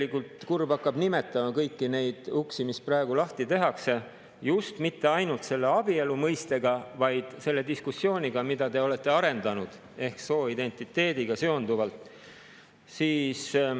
Isegi kurb hakkab, kui nimetada kõiki neid uksi, mida praegu lahti tehakse, mitte ainult selle abielu mõistega, vaid selle diskussiooniga, mida te olete arendanud, ehk sooidentiteediga seonduvalt.